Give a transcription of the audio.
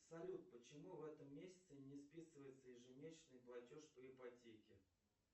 салют почему в этом месяце не списывается ежемесячный платеж по ипотеке